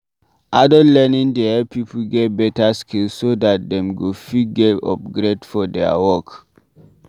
Adult learning dey help pipo get better skills so dat dem go fit get upgrade for their work